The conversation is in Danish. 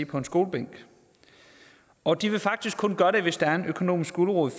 på en skolebænk og de vil faktisk kun gøre det hvis der er en økonomisk gulerod